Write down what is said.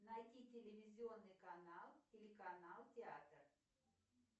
найди телевизионный канал телеканал театр